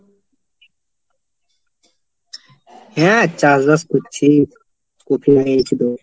হ্যাঁ, চাষবাস করছি। কোপি লাগিয়েছি তোর।